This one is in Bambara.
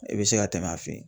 I bɛ se ka tɛmɛ a fɛ yen